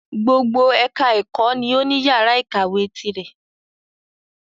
Gbogbo ẹka ẹ̀kọ́ ni o ní yàrá ìkàwé tirẹ̀.